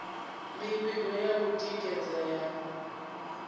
mivhigo ya u tikedza ya